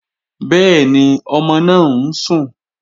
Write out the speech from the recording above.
Bẹ́ẹ̀ni, ọmọ náà ń sùn